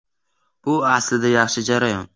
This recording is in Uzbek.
Bu aslida yaxshi jarayon.